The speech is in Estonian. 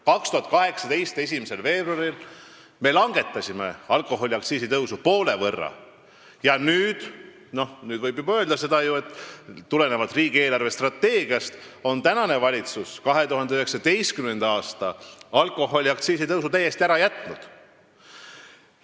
2018. aasta 1. veebruaril me langetasime alkoholiaktsiisi tõusu poole võrra ja nüüd võib juba riigi eelarvestrateegia põhjal öelda, et valitsus on 2019. aasta alkoholiaktsiisi tõusu täiesti ära jätnud.